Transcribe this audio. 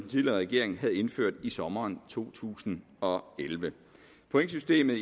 tidligere regering havde indført i sommeren to tusind og elleve pointsystemet